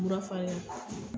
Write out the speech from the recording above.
Murafarigan.